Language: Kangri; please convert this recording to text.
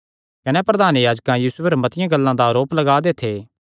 कने प्रधान याजक यीशु पर मतिआं गल्लां दा आरोप लगा दे थे